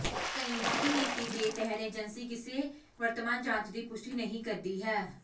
ਕਇੰਜਕੀ ਨੀਤੀ ਦੇ ਤਹਿਤ ਏਜੰਸੀ ਕਿਸੇ ਵਰਤਮਾਨ ਜਾਂਚ ਦੀ ਪੁਸ਼ਟੀ ਨਹੀਂ ਕਰਦੀ ਹੈ